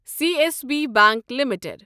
C S B bank limited